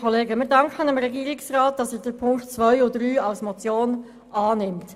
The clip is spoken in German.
Wir danken dem Regierungsrat, dass er die Punkte 2 und 3 als Motion annimmt.